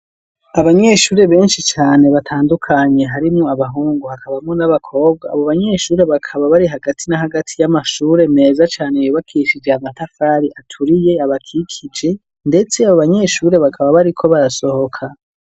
Abanyeshure benshi cane batandukanye harimwo abahungu hakabamwo n'abakobwa abo banyeshure bakaba bari hagati na hagati y'amashure meza cane yubakishije amatafari aturiye abakikije ndetse abo banyeshure bakaba bari ko barasohoka.